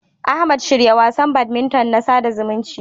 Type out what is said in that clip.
Ahmad, shirya wasan badminton na sada zumunci.